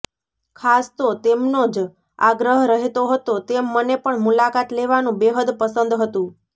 ખાસ તો તેમનો જ આગ્રહ રહેતો હતો તેમ મને પણ મુલાકાત લેવાનું બેહદ પસંદ હતું